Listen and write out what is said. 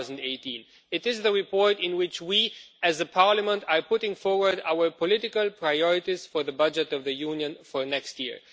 2018. It is the report in which we, as a Parliament, are putting forward our political priorities for the budget of the Union for next year.